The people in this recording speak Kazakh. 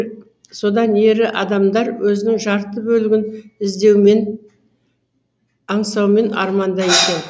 содан ері адамдар өзінің жарты бөлігін іздеумен аңсаумен арманда екен